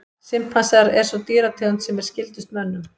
Simpansar er sú dýrategund sem er skyldust mönnum.